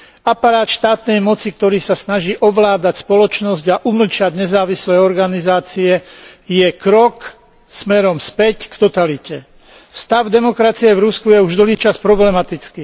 Aparát štátnej moci, ktorý sa snaží ovládať spoločnosť a umlčať nezávislé organizácie, je krok smerom späť k totalite. Stav demokracie v Rusku je už dlhý čas problematický.